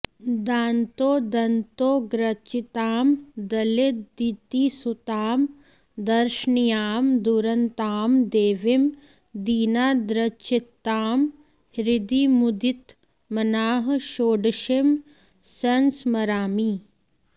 दान्तोदन्तोग्रचितां दलितदितिसुतां दर्शनीयां दुरन्तां देवीं दीनार्द्रचित्तां हृदि मुदितमनाः षोडशीं संस्मरामि